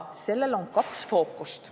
Sellel on kaks fookust.